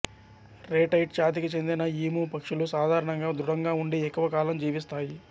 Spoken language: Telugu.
రేటైట్ జాతికి చెందిన ఈము పక్షులు సాధారణంగా దృఢంగా ఉండి ఎక్కువ కాలం జీవిస్తాయి